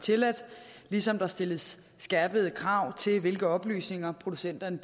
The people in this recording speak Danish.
tilladt ligesom der stilles skærpede krav til hvilke oplysninger producenterne